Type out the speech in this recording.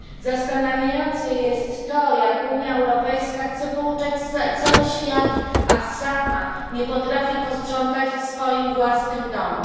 Zastanawiające jest to, jak Unia Europejska chce pouczać stać cały świat, a sama nie potrafi posprzątać w swoim własnym domu.